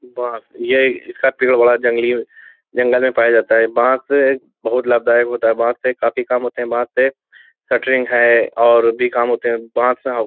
बांस यह इसका पेड़ बड़ा जंगली है जंगल में पाया जाता है | बांस एक बहुत लाभदायक होता है। बांस से काफी काम होते है। बांस से शटरिंग है और भी काम होते है। बांस --